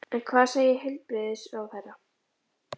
En hvað segir heilbrigðisráðherra?